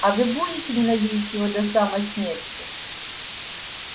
а вы будете ненавидеть его до самой смерти